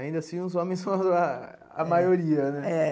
Ainda assim, os homens são ah a maioria, né? É.